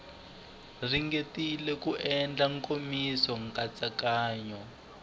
ringetile ku endla nkomiso nkatsakanyo